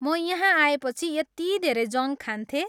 म यहाँ आएपछि यति धेरै जङ्क खान्थेँ।